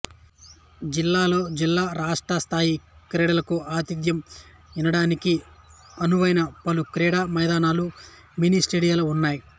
జిల్లాలో జిల్లా రాష్ట్ర స్థాయి క్రీడలకు ఆతిథ్యం ఇన్నడానికి అనువైన పలు క్రీడా మైదానాలు మిని స్టేడియాలు ఉన్నాయి